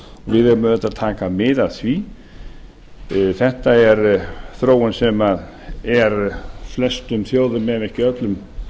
við verðum auðvitað að taka mið af því þetta er þróun sem er flestum þjóðum ef ekki öllum